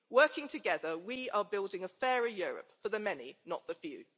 Working together, we are building a fairer Europe for the many, not the few.